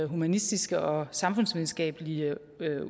humanistiske og samfundsvidenskabelige